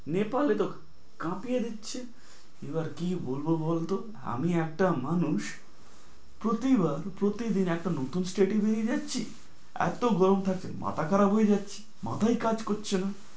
নেপালে তো কাঁপিয়ে দিচ্ছে, এবার কি বলব বল তো? আমি একটা মানুষ প্রতিবার, প্রতিদিন একটা নতুন state এ বেরিয়ে যাচ্ছি, এত গরম থাকলে মাথা খারাপ হয়ে যাচ্ছে, মাথাই কাজ করছে না।